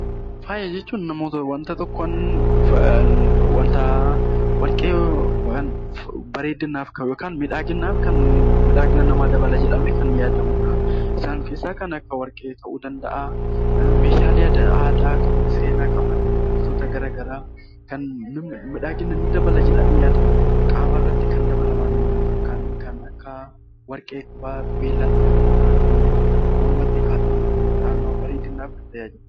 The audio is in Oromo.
Faaya jechuun namoota warqee miidhagina dabala jedhamee kan yaadamudha. Isaan keessaa kan akka warqee, meeshaalee aadaa, wantoota garaagaraa kan miidhagina ni dabala jedhanii qaamarratti kan dabalaman Kan Akka warqee qubaa, qubeellaa kan mormatti kaawwatamu ta'uu danda'a